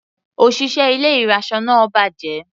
Òṣìṣẹ́ ilé ìraṣọ náà bàjẹ́.